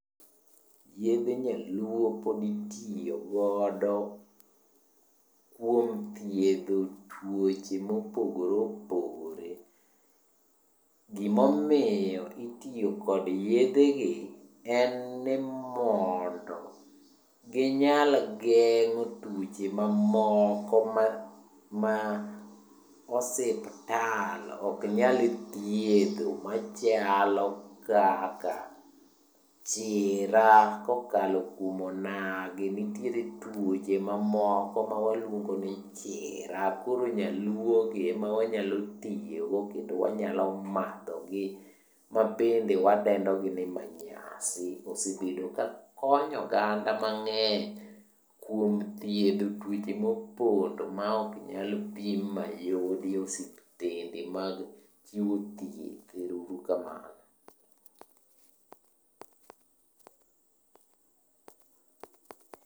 Yedhe nyaluo pod itiyo godo kuom thiedho tuoche mopogore opogore. Gimomiyo itiyo kod yedhe gi en ni mondo ginyal gengo tuoche mamoko ma osiptal ok nyal thiedho machalo kaka chira kokalo kuom onagi. Nitiere tuoche mamoko mawaluongo ni chira koro nyaluo gi ema wanyalo tiyogo kendo wanyalo madhogi mabende wadendo gi ni manyasi. Osebedo ka konyo oganda mang'eny kuom thiedho tuoche mopondo ma ok nyal pim ma yudi e osiptande mag chiwo thieth. Ero uru kamano.